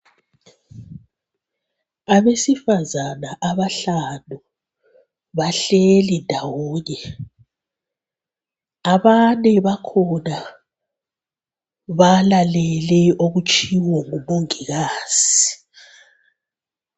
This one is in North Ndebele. Abesifazana abahlanu bahleli ndawonye. Abane bakhona balalele okutshiwo ngumongikazi.